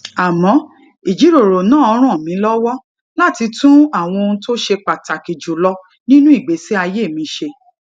àmó ìjíròrò náà ràn mí lówó láti tún àwọn ohun tó ṣe pàtàkì jù lọ nínú ìgbésí ayé mi ṣe